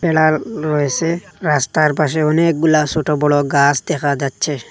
বেড়ার রয়েসে রাস্তার পাশে অনেকগুলা সোটো বড় গাস দেখা যাচ্ছে।